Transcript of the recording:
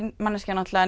manneskja